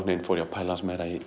fór ég að pæla aðeins meira í